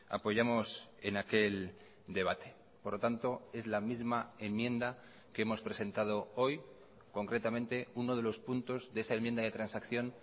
apoyamos en aquel debate por lo tanto es la misma enmienda que hemos presentado hoy concretamente uno de los puntos de esa enmienda de transacción